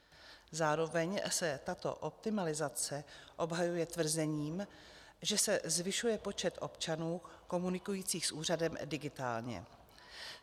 Zároveň se tato optimalizace obhajuje tvrzením, že se zvyšuje počet občanů komunikujících s úřadem digitálně.